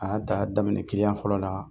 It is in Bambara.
A y'a daminɛ kiliyan fɔlɔ la